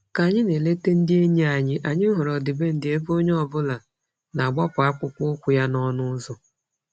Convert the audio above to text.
Ka anyị na-eleta ndị enyi anyị, anyị hụrụ ọdịbendị ebe onye ọbụla na-agbapụ akpụkpọ ụkwụ ya n'ọnụ ụzọ.